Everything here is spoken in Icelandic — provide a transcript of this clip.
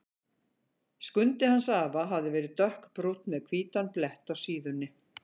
Skundi hans afa hafði verið dökkbrúnn með hvítan blett á síðunni.